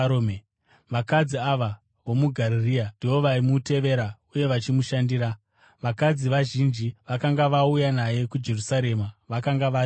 Vakadzi ava vomuGarirea ndivo vaimutevera uye vachimushandira. Vakadzi vazhinji vakanga vauya naye kuJerusarema vakanga varipowo.